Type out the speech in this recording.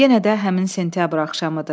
Yenə də həmin sentyabr axşamıdır.